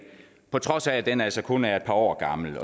på trods af at den altså kun er et par år gammel